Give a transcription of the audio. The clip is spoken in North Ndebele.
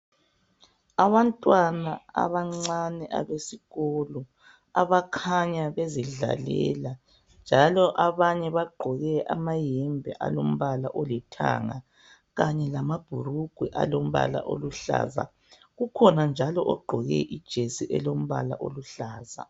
Abantwana abancane abesikolo , abakhanya bezidlalela , njalo abanye bagqoke amayembe alombala olithanga kanye lamabhulugwe alombala oluhlaza. Kukhona njalo ogqoke ijesi elombala oluhlaza.